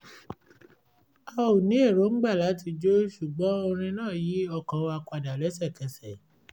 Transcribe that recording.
a ò ní erongba láti jó ṣùgbọ́n orin náà yí ọkàn wa padà léṣekẹsẹ̀